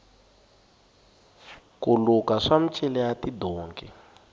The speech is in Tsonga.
ku luka swa micila ya tidonki